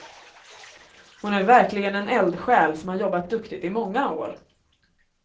Hon är verkligen en eldsjäl som har jobbat duktigt i många år.